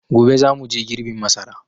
Gobe za muje girbin masara